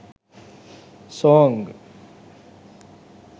song